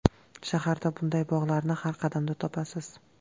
Shaharda bunday bog‘larni har qadamda topasiz.